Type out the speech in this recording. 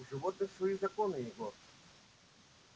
у животных свои законы егор